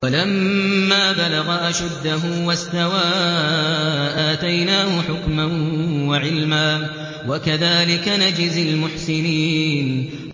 وَلَمَّا بَلَغَ أَشُدَّهُ وَاسْتَوَىٰ آتَيْنَاهُ حُكْمًا وَعِلْمًا ۚ وَكَذَٰلِكَ نَجْزِي الْمُحْسِنِينَ